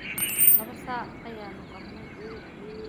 Laba sac ayaanu qalnay.